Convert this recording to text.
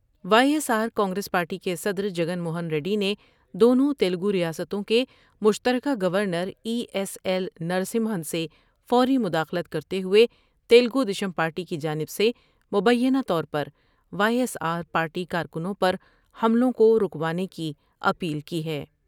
Y S آرکانگریس party کے صدر جگن موہن ریڈی نے دونوں تلگور یا ستوں کے مشتر کہ گورنرای ایس ایل نرسمہن سے فوری مداخلت کرتے ہوئے تلگو دیشم پارٹی کی جانب سے مبینہ طور پر وائی ایس آر پارٹی کارکنوں پر حملوں کو روکوانے کی اپیل کی ہے ۔